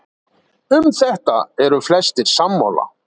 um þetta eru flestir sammála